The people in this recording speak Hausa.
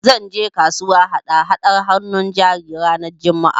Zan je kasuwa hada-hadar hannun jari ranar Juma'a